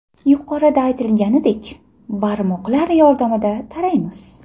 Yuqorida aytilganidek, barmoqlar yordamida taraymiz.